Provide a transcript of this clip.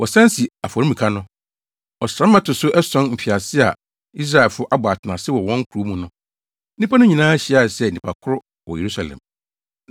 Ɔsram a ɛto so ason mfiase a Israelfo abɔ atenase wɔ wɔn nkurow mu no, nnipa no nyinaa hyiaa sɛ nnipa koro wɔ Yerusalem.